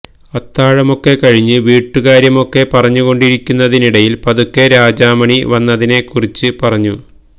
അത്താഴമൊക്കെ കഴിഞ്ഞ് വീട്ടുകാര്യമൊക്കെ പറഞ്ഞുകൊണ്ടിരിക്കുന്നതിനിടയില് പതുക്കെ രാജാമണി വന്നതിനെ കുറിച്ച് പറഞ്ഞു